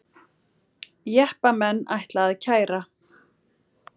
Jeppamenn ætla að kæra